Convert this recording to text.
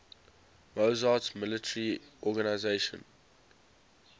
massoud's military organization